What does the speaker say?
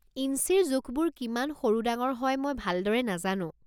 ইঞ্চিৰ জোখবোৰ কিমান সৰু ডাঙৰ হয় মই ভালদৰে নাজানো।